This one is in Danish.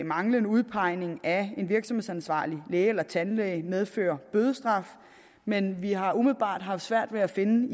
manglende udpegning af en virksomhedsansvarlig læge eller tandlæge medfører bødestraf men vi har umiddelbart haft svært ved at finde